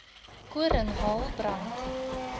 koring hael brand